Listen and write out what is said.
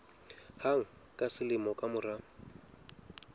hang ka selemo ka mora